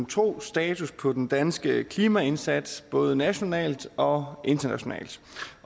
tro status på den danske klimaindsats både nationalt og internationalt